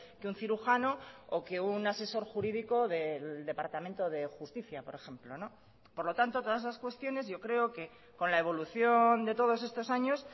que un cirujano o que un asesor jurídico del departamento de justicia por ejemplo por lo tanto todas esas cuestiones yo creo que con la evolución de todos estos años